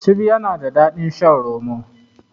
Cibi yana da daɗin shan roma.